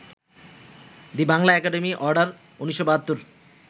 the Bangla academy order, ১৯৭২